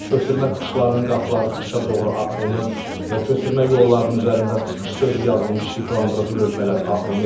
Köçürmə çıxışlarının qapıları çıxışa doğru açılmır və köçürmə yollarının üzərində çıxış sözü yazılmış işıqlandırıcı lövhələr asılmayıb.